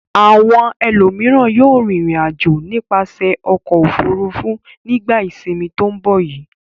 Àwọn ẹlòmíràn yóò rìnrìn-àjò nípasẹ̀ ọkọ̀-òfurufú nígbà ìsìnmi tó ń bọ̀ yìí.